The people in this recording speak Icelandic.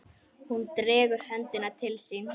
Hún dregur höndina til sín.